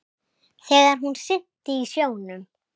Þegar hún synti í sjónum.